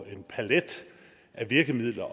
en palet af virkemidler